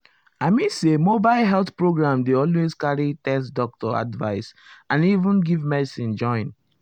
i mean say mobile health program dey always carry test doctor advice and even give medicine join.